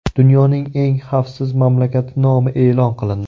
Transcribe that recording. Dunyoning eng xavfsiz mamlakati nomi e’lon qilindi.